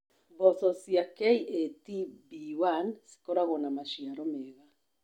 Mboco cia KAT B1 cikoragwo na maciaro mega.